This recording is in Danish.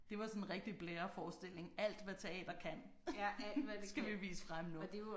Det var sådan en rigtig blæreforestilling alt hvad teater kan skal vi vise frem nu